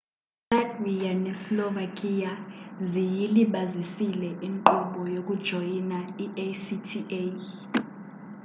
ilatvia neslovakia ziyilibazisile inkqubo yokujoyina i-acta